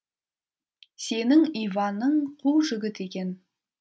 сенің иваның қу жігіт екен